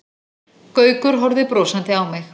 Gaukur horfði brosandi á mig.